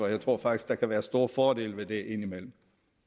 jeg tror faktisk der kan være store fordele ved det indimellem